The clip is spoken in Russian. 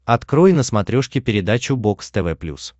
открой на смотрешке передачу бокс тв плюс